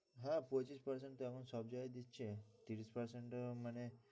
হ্যাঁ পঁচিশ percent তো এখন সব জায়গায়ই দিচ্ছে ত্রিশ percent মানে